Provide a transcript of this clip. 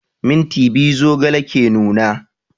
Minti biyu zogale ke nuna